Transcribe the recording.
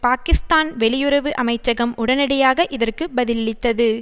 பாகிஸ்தான் வெளியுறவு அமைச்சகம் உடனடியாக இதற்கு பதிலளித்தது